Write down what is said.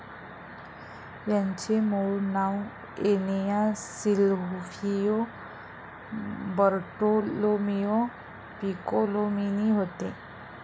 याचे मूळ नाव एनिया सिल्व्हियो बर्टोलोमीओ पिकोलोमीनी होते.